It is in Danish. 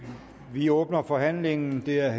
vi åbner forhandlingen det er